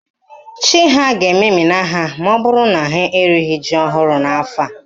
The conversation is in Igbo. Chi ha ga-ememina ha maọbụrụ na ha erighi ji ọhụrụ n'afọ a.